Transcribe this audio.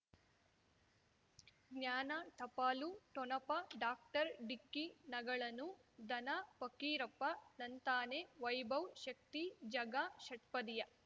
ಜ್ಞಾನ ಟಪಾಲು ಠೊಣಪ ಡಾಕ್ಟರ್ ಢಿಕ್ಕಿ ಣಗಳನು ಧನ ಫಕೀರಪ್ಪ ಳಂತಾನೆ ವೈಭವ್ ಶಕ್ತಿ ಝಗಾ ಷಟ್ಪದಿಯ